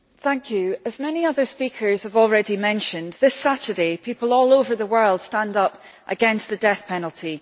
Mr President, as many other speakers have already mentioned, this Saturday people all over the world will stand up against the death penalty.